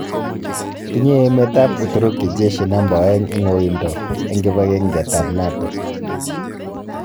Tinye emet ab Uturuki jeshi namba ooegn en woido en kibang'enget ab NATO.